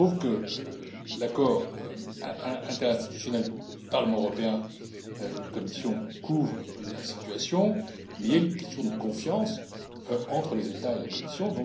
Il se trouve que l'accord interinstitutionnel entre le Parlement européen et la Commission couvre la situation, mais il y a une question de confiance entre les États et la Commission.